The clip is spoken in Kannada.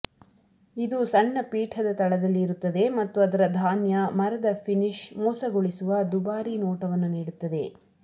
ಇದು ಸಣ್ಣ ಪೀಠದ ತಳದಲ್ಲಿ ಇರುತ್ತದೆ ಮತ್ತು ಅದರ ಧಾನ್ಯ ಮರದ ಫಿನಿಶ್ ಮೋಸಗೊಳಿಸುವ ದುಬಾರಿ ನೋಟವನ್ನು ನೀಡುತ್ತದೆ